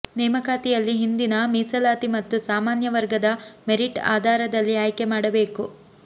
ನೇಮಕಾತಿಯಲ್ಲಿ ಹಿಂದಿನ ಮೀಸಲಾತಿ ಮತ್ತು ಸಾಮಾನ್ಯ ವರ್ಗದ ಮೆರಿಟ್ ಆಧಾರದಲ್ಲಿ ಆಯ್ಕೆ ಮಾಡಬೇಕು